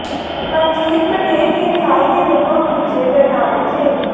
ਮਨਜੀਤ ਧਨੇਰ ਦੀ ਰਿਹਾਈ ਦੇ ਹੁਕਮ ਪੁੱਜੇ ਬਰਨਾਲਾ ਜੇਲ੍ਹ